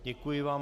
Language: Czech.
Děkuji vám.